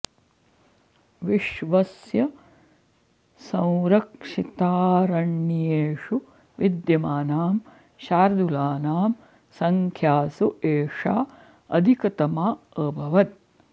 विश्वस्य संरक्षितारण्येषु विद्यमानां शार्दूलानां सङ्ख्यासु एषा अधिकतमा अभवत्